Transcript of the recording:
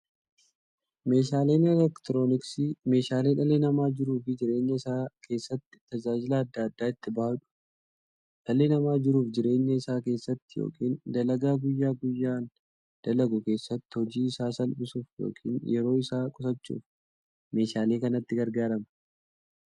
Meeshaaleen elektirooniksii meeshaalee dhalli namaa jiruuf jireenya isaa keessatti, tajaajila adda addaa itti bahuudha. Dhalli namaa jiruuf jireenya isaa keessatti yookiin dalagaa guyyaa guyyaan dalagu keessatti, hojii isaa salphissuuf yookiin yeroo isaa qusachuuf meeshaalee kanatti gargaarama.